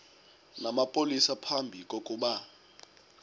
namapolisa phambi kokuba